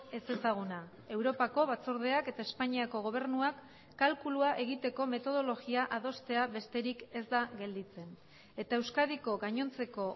ezezaguna europako batzordeak eta espainiako gobernuak kalkulua egiteko metodologia adostea besterik ez da gelditzen eta euskadiko gainontzeko